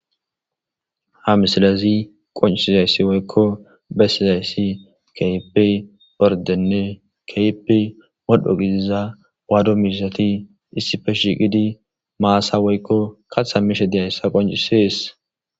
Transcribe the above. Ha missilezi qonc'isizaysi woyko besizaysi kehipe oridenne kehipe modho gidiza wadu mizati issipe shiqidi masa woyko katha mishe diyaysa qonc'ses.